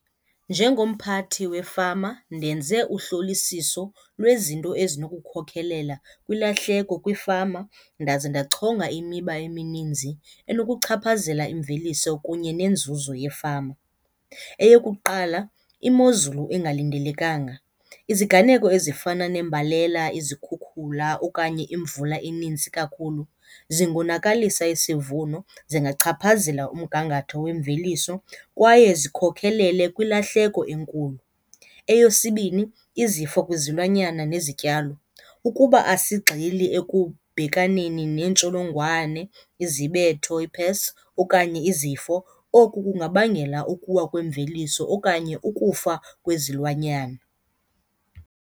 Njengomphathi wefama ndenze uhlolisiso lwezinto ezinokukhokelela kwilahleko kwiifama ndaze ndachonga imiba emininzi enokuchaphazela imveliso kunye neenzuzo yefama. Eyokuqala, imozulu engalindelekanga. Iziganeko ezifana nembalela, izikhukhula okanye imvula eninzi kakhulu zingonakalisa isivuno, zingachaphazela umgangatho wemveliso kwaye zikhokhelele kwilahleko enkulu. Eyesibini, izifo kwizilwanyana nezityalo. Ukuba asigxili ekubhekaneni neentsholongwane, izibetho, ii-pests, okanye izifo oku kungabangela ukuwa kwemveliso okanye ukufa kwezilwanyana.